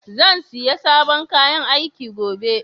Zan siya sabon kayan aiki gobe.